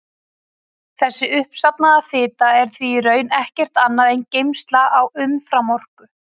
Þessi uppsafnaða fita er því í raun ekkert annað en geymsla á umframorku.